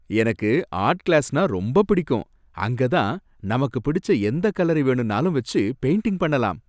எனக்கு ஆர்ட் கிளாஸ்னா ரொம்பப் பிடிக்கும். அங்கதான் நமக்குப் பிடிச்ச எந்தக் கலரை வேணும்னாலும் வெச்சு பெயிண்டிங் பண்ணலாம்.